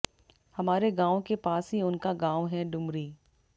हमारे गांव के पास ही उन का गांव है डुमरी